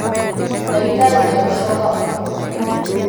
ndagītarī ndegūcoka ūmūthī.